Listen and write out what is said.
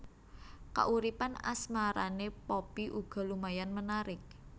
Kauripan asmarané Poppy uga lumayan menarik